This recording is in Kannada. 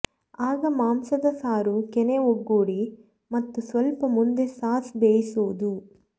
ಆಗ ಮಾಂಸದ ಸಾರು ಕೆನೆ ಒಗ್ಗೂಡಿ ಮತ್ತು ಸ್ವಲ್ಪ ಮುಂದೆ ಸಾಸ್ ಬೇಯಿಸುವುದು